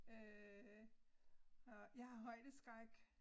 Øh og jeg har højdeskræk